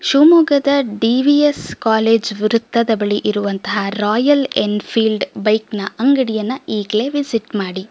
ಶಿಮೊಗ್ಗದ D V S college ವಿರುದ್ದದ ಬಳಿ ಇರುವಂತಹ ರಾಯಲ್ ಎಂಫಿಎಲ್ಡ್ ಬೈಕ್ ನ ಅಂಗಡಿಯನ್ನ ಈಗ್ಲೆ ವಿಸಿಟ್ ಮಾಡಿ.